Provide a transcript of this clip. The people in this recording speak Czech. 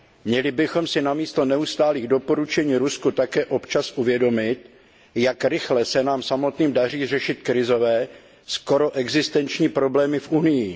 Měli bychom si namísto neustálých doporučení Rusku také občas uvědomit, jak rychle se nám samotným daří řešit krizové, skoro existenční problémy v Unii.